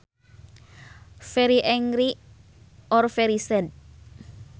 Very angry or very sad